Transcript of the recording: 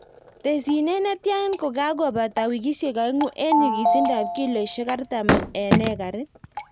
Tesyinet netia kokabata wikisiek oeng'u en nyikisindab kiloisiek artam en ekarit.